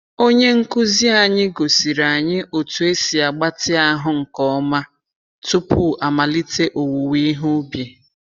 Onye nkuzi anyị gosiri anyị otu esi agbatị ahụ nke ọma tupu amalite owuowe ihe ubi.